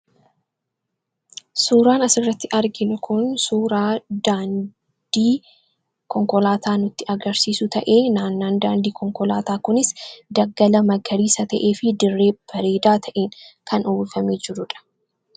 Suuraan asirratti argin kun suuraa daandii konkolaataa nutti agarsiisu ta'ee naannaan daandii konkolaataa kunis daggala maggariisa ta'ee fi dirree bareedaa ta'in kan uwwufamee jiruudha.